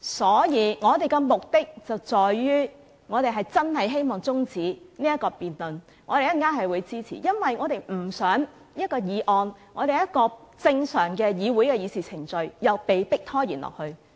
所以，我們的目的，在於我們是真的希望中止這項辯論，稍後我們會投票支持這項中止待續議案，因為我們不想一項議案......正常的議會程序被迫拖延下去。